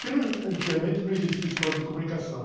Porque não, ãh, antigamente não existia escola de comunicação.